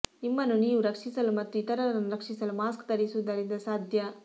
ನಿಮ್ಮನ್ನು ನೀವು ರಕ್ಷಿಸಲು ಮತ್ತು ಇತರರನ್ನು ರಕ್ಷಿಸಲು ಮಾಸ್ಕ್ ಧರಿಸುವುದರಿಂದ ಸಾಧ್ಯ